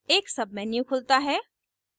एक submenu खुलता है